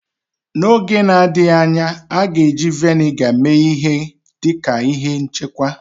N'oge na-adịghị anya, a ga-eji Vị́nịga mee ihe dị ka ihe nchekwa